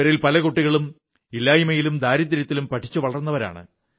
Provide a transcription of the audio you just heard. ഇവരിൽ പല കുട്ടികളും ഇല്ലായ്മയിലും ദാരിദ്ര്യത്തിലും പഠിച്ചു വളർന്നവരാണ്